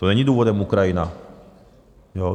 To není důvodem Ukrajina.